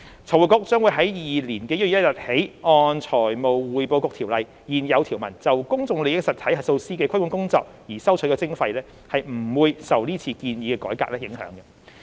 財匯局將於2022年1月1日起按《財務匯報局條例》現有條文就公眾利益實體核數師的規管工作而收取的徵費，不會受是次建議的改革影響。